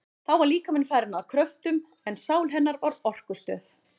Þá var líkaminn farinn að kröftum, en sál hennar var orkustöð.